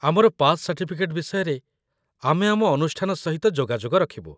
ଆମର pass certificate ବିଷୟରେ ଆମେ ଆମ ଅନୁଷ୍ଠାନ ସହିତ ଯୋଗାଯୋଗ ରଖିବୁ।